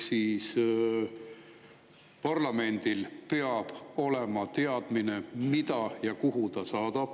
Parlamendil peab olema teadmine, mida ja kuhu ta saadab.